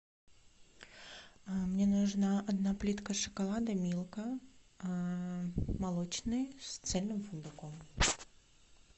мне нужна одна плитка шоколада милка молочный с цельным фундуком